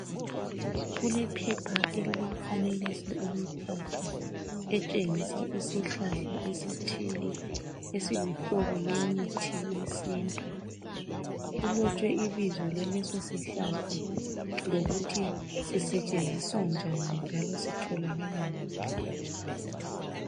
Kulephepha elilomfanekiso emithathu etshengisa isihlahla esithile esiluhlobo lwemithi yesintu kulotshwe ibizo lalesi sihlahla lokuthi sisetshenziswa njani njalo sitholakala ngaphi.